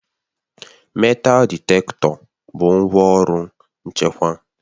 metal ditektọ bụ ngwaọrụ nchekwa